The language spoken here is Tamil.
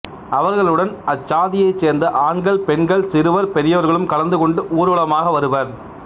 அவர்களுடன் அச்சாதியைச் சேர்ந்த ஆண்கள் பெண்கள் சிறுவர் பெரியவர்களும் கலந்து கொண்டு ஊர்வலமாக வருவர்